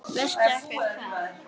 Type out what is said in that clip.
Veistu ekki hvað?